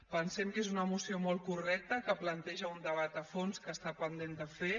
pensem que és una moció molt correcta que planteja un debat a fons que està pendent de fer